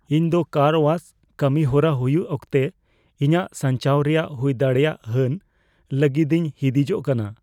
ᱤᱧ ᱫᱚ ᱠᱟᱨ ᱳᱣᱟᱥ ᱠᱟᱹᱢᱤ ᱦᱚᱨᱟ ᱦᱩᱭᱩᱜ ᱚᱠᱛᱮ ᱤᱧᱟᱹᱜ ᱥᱟᱧᱪᱟᱣ ᱨᱮᱭᱟᱜ ᱦᱩᱭᱫᱟᱲᱮᱭᱟᱜ ᱦᱟᱹᱱ ᱞᱟᱹᱜᱤᱫᱤᱧ ᱦᱤᱸᱫᱤᱡᱚᱜ ᱠᱟᱱᱟ ᱾